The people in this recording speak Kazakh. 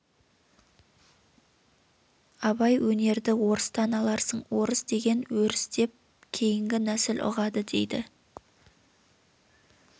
абай өнерді орыстан аларсың орыс деген өріс деп кейінгі нәсіл ұғады дейді